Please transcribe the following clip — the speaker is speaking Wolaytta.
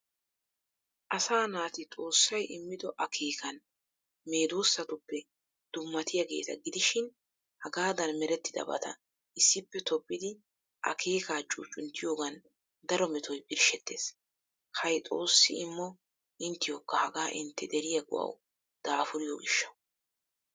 Asaa naati xoossay immido akeekan meedosattuppe dummatiyageeta gidishin hagaadan merettidabaatta issippe tobbidi akeekaa cuccunttiyoogan daro metoy birshshettees. Hay xoossi immo inttiyokka hagaa intte deriya go'awu daafuriyo gishshawu!!